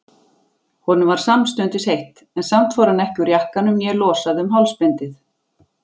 Honum varð samstundis heitt, en samt fór hann ekki úr jakkanum né losaði um hálsbindið.